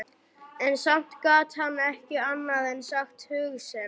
En samt gat hann ekki annað en sagt hug sinn.